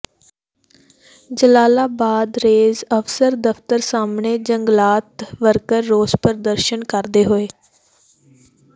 Jalalabad range ਅਫਸਰ ਦਫਤਰ ਸਾਹਮਣੇ ਜੰਗਲਾਤ ਵਰਕਰ ਰੋਸ ਪ੍ਰਦਰਸ਼ਨ ਕਰਦੇ ਹੋਏ